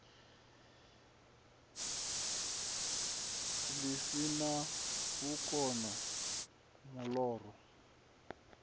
ḽi si na vhukono muloro